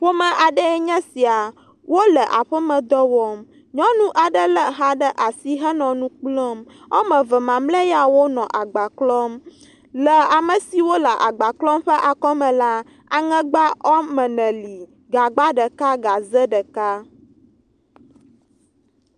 Ƒome aɖe enye sia wole aƒemedɔ wɔm. Nyɔnu aɖe lé xa ɖe asi henɔ nu kplɔm. Wɔme eve mamlɛa ya wonɔ agba klɔm. Le ame siwo le agba klɔm ƒe akɔme la, aŋegbe wɔme ene li, gagba ɖeka gaze ɖeka.